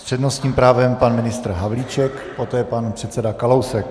S přednostním právem pan ministr Havlíček, poté pan předseda Kalousek.